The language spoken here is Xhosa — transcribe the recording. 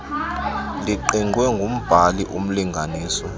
liqingqwe ngumbhali umlinganiswa